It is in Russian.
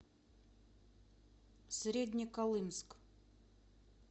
среднеколымск